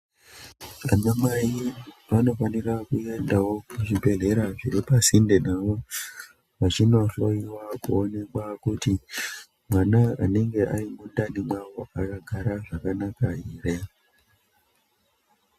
Anamai vanofanira kuendawo kuzvibhedhlera zviri pasinde navo vachinohloyiwa kuonekwa kuti mwana anenge arimundani mwavo akagara zvakanaka here.